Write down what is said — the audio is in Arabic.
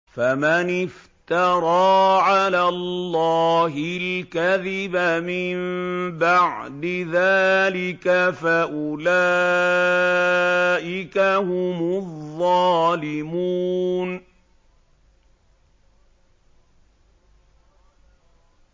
فَمَنِ افْتَرَىٰ عَلَى اللَّهِ الْكَذِبَ مِن بَعْدِ ذَٰلِكَ فَأُولَٰئِكَ هُمُ الظَّالِمُونَ